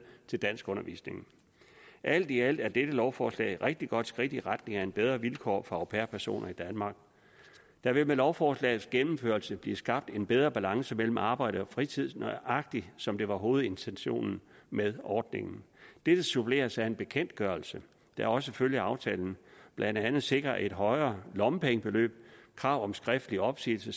til danskundervisning alt i alt er dette lovforslag et rigtig godt skridt i retning af bedre vilkår for au pair personer i danmark der vil med lovforslagets gennemførelse blive skabt en bedre balance mellem arbejde og fritid nøjagtig som det var hovedintentionen med ordningen dette suppleres af en bekendtgørelse der også følger aftalen og blandt andet sikrer et højere lommepengebeløb krav om skriftlig opsigelse